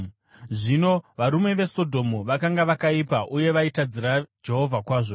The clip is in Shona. Zvino varume veSodhomu vakanga vakaipa uye vaitadzira Jehovha kwazvo.